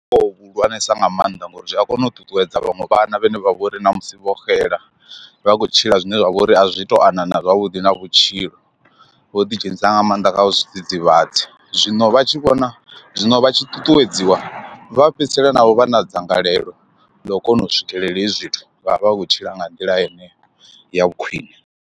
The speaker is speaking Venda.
Vhuhulwanesa nga maanḓa ngori zwi a kona u ṱuṱuwedza vhaṅwe vhana vhane vha vha uri na musi vho xela vha khou tshila zwine zwa vha uri a zwi to anḓana zwavhuḓi na vhutshilo vho ḓi dzhenisa nga maanḓa kha zwi dzidzivhadzi ḓivhadzi. Zwino vha tshi vhona zwino vha tshi ṱuṱuwedziwa vha fhedzisela na vho vha na dzangalelo ḽa u kona u swikelela hezwi zwithu vha vha vha khou tshila nga nḓila yeneyo ya khwiṋe.